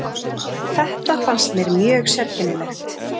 Þetta fannst mér mjög sérkennilegt.